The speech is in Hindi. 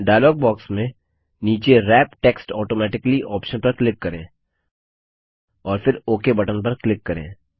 डायलॉग बॉक्स में नीचे व्रैप टेक्स्ट ऑटोमैटिकली ऑप्शन पर क्लिक करें और फिर ओक बटन पर क्लिक करें